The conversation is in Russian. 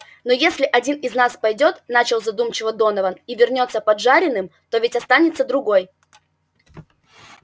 но если один из нас пойдёт начал задумчиво донован и вернётся поджаренным то ведь останется другой